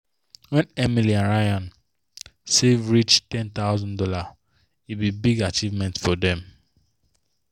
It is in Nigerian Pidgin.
when emily and ryan save reach one thousand dollars0 e be big achievement for them.